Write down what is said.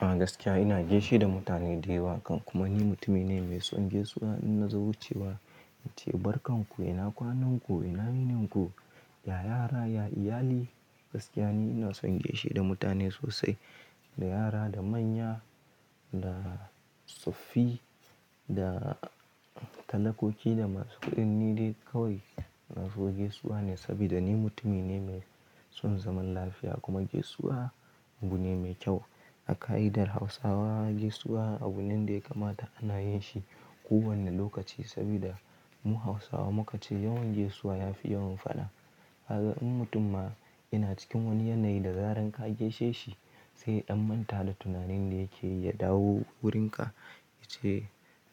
A gaskiya ina gaishe da mutane da yawa, kan kuma ni mutumi ne mai son gesuwa in na zo cewa ince barka ku ina kwanan ku ina yininku, ya yara ya iyali gaskiya ni ina son gaishe da mutane sosai, da yara da manya da tsoffi da talakoki da masu kuɗi ni dai kawai ina so gesuwa ne saboda ni mutumi ne mai son zaman lafiya kuma gesuwa abu ne mai kyau. A ƙa'idar Hausawa gesuwa abu ne da ya kamata ana yin shi kowane lokaci saboda mu Hausawa muka ce yawon gesuwa ya fi yawon faɗa. A ga in mutum ma yana cikin wani yanayi da zaran ka geshe shi sai ya ɗammanta da tunanin da yake yi ya dawo wurinka yace